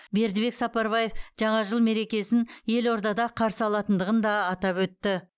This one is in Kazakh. бердібек сапарбаев жаңа жыл мерекесін елордада қарсы алатындығын да атап өтті